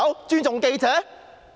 尊重記者？